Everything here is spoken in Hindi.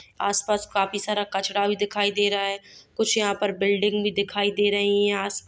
आस-पास काफी सारा कचरा भी दिखाई दे रहा है कुछ यहाँ पर बिल्डिंग भी दिखाई दे रही है आस-पा --